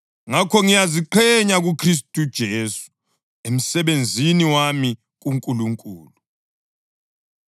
Ngakho ngiyaziqhenya kuKhristu uJesu emsebenzini wami kuNkulunkulu.